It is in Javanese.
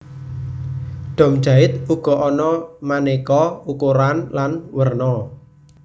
Dom jait uga ana manéka ukuran lan werna